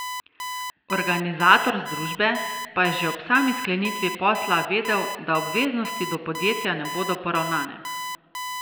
Organizator združbe pa je že ob sami sklenitvi posla vedel, da obveznosti do podjetja ne bodo poravnane.